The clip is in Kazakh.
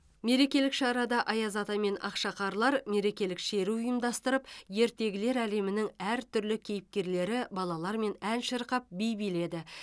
мерекелік шарада аяз ата мен ақшақарлар мерекелік шеру ұйымдастырып ертегілер әлемінің әртүрлі кейіпкерлері балалармен ән шырқап би биледі